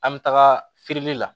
An bɛ taga feereli la